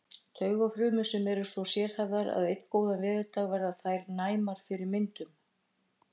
Taugafrumur sem eru svo sérhæfðar að einn góðan veðurdag verða þær næmar fyrir myndum.